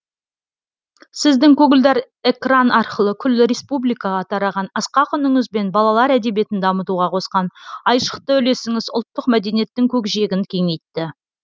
сіздің көгілдар экран арқылы күллі республикаға тараған асқақ үніңіз бен балалар әдебиетін дамытуға қосқан айшықты үлесіңіз ұлттық мәдениеттің көкжиегін кеңейтті